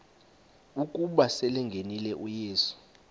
ukuba selengenile uyesu